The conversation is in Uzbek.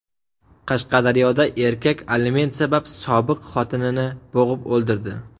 Qashqadaryoda erkak aliment sabab sobiq xotinini bo‘g‘ib o‘ldirdi.